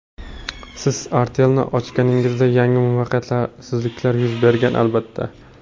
Siz Artel’ni ochganingizda yangi muvaffaqiyatsizliklar yuz bergan... Albatta.